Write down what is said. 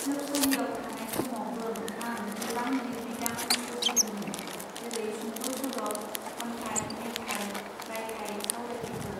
जोबसालियाव थानाय समावबों आं गोबां लिरबिदां सोरजिदोमोन जेरै सुंद सल खन्थाई मेथाइ रायथाई सावरायथायफोर.